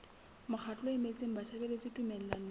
mokgatlo o emetseng basebeletsi tumellanong